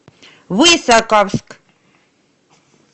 высоковск